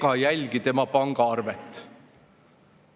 – P. S.] ega jälgi tema pangaarvet.